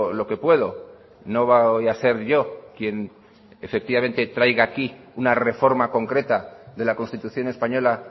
lo que puedo no va hoy a ser yo quien efectivamente traiga aquí una reforma concreta de la constitución española